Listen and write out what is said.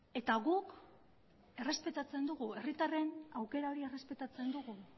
eta guk errespetatzen dugu herritarren aukera hori errespetatzen dugu